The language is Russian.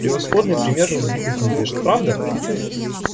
превосходный пример разбитых надежд правда